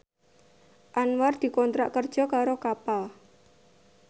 Anwar dikontrak kerja karo Kappa